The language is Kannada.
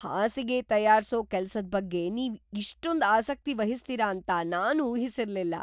ಹಾಸಿಗೆ ತಯಾರ್ಸೋ ಕೆಲ್ಸದ್‌ ಬಗ್ಗೆ ನೀವ್‌ ಇಷ್ಟೊಂದ್‌ ಆಸಕ್ತಿ ವಹಿಸ್ತೀರ ಅಂತ ನಾನ್‌ ಊಹಿಸಿರ್ಲಿಲ್ಲ.